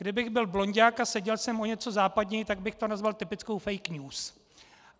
Kdybych byl blonďák a seděl jsem o něco západněji, tak bych to nazval typickou fake news.